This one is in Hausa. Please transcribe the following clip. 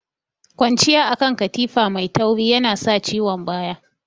Kwanciya akan katifa mai tauri yana sa ciwon baya.